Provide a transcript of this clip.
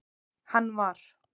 hann var.